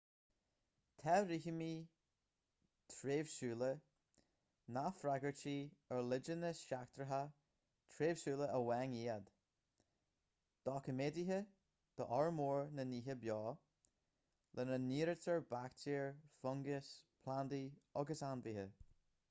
tá rithimí tréimhsiúla nach freagairtí ar leideanna seachtracha tréimhsiúla amháin iad doiciméadaithe d'fhormhór na nithe beo lena n-áirítear baictéir fungais plandaí agus ainmhithe